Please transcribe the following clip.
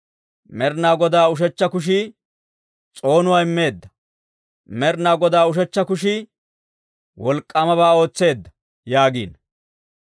Med'inaa Godaa ushechcha kushii s'oonuwaa immeedda! Med'inaa Godaa ushechcha kushii wolk'k'aamabaa ootseedda!» yaagiino.